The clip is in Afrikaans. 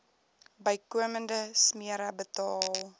bykomende smere betaal